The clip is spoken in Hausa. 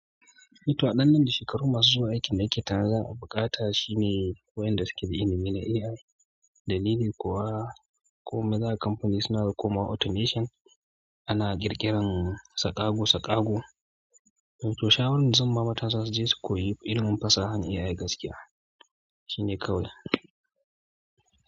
Ito a ɗan nan da shekaru masu zuwa aikin ma'aikata za a buƙata shine koyan da fitil inine AI. Dalili kuwa ko maza kamfani suna koma automation ana ƙirƙiran tsakaƙo-tsakaƙo. To shawarar zan ma matasa su je su koyi ilimin fasahan AI gaskiya shine kawai.